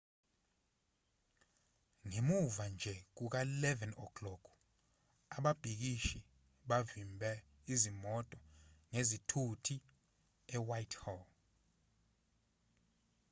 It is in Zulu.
ngemuva nje kuka-11:00 ababhikishi bavimbe izimoto ngezithuthi e-whitehall